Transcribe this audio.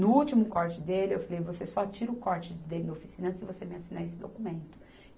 No último corte dele, eu falei, você só tira o corte de dentro da oficina se você me assinar esse documento.